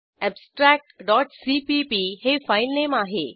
abstract CPP हे filename आहे